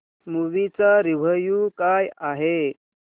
movie चा review काय आहे